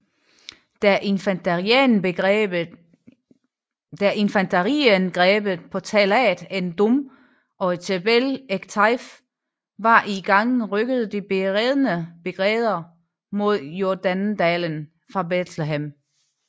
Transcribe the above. Da infanteriangrebet på Talat ed Dumm og Jebel Ekteif var i gang rykkede de beredne brigader mod Jordandalen fra Bethlehem